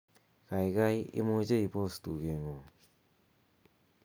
gaigai imuche ipos tugeng'ung